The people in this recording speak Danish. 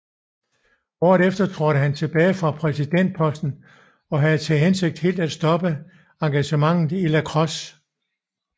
Året efter trådte han tilbage fra præsidentposten og havde til hensigt helt at stoppe engagementet i lacrosse